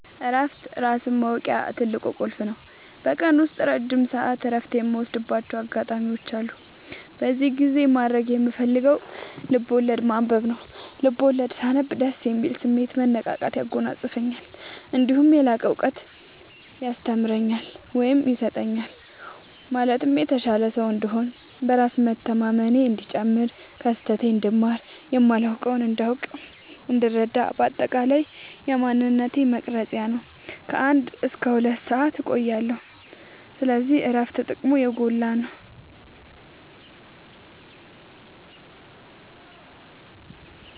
እረፍት ራስን ማወቂያ ትልቁ ቁልፍ ነው። በቀን ውስጥ ረጅም ሰዓት እረፍት የምወስድባቸው አጋጣዎች አሉ። በዚህ ጊዜ ማድረግ የምፈልገው ልብዐወለድ ማንበብ ነው፤ ልቦለድ ሳነብ ደስ የሚል ስሜት፣ መነቃቃት ያጎናፅፈኛል። እነዲሁም የላቀ እውቀት ያስተምረኛል ወይም ይሰጠኛል ማለትም የተሻለ ሰው እንድሆን፣ በራስ መተማመኔ እንዲጨምር፣ ከስህተቴ እንድማር፣ የማላውቀውን እንዳውቅናእንድረዳ በአጠቃላይ የማንነቴ መቅረጽያ ነው። ከ አንድ እስከ ሁለት ሰአት እቆያለሁ። ስለዚህ እረፍት ጥቅሙ የጎላ ነው።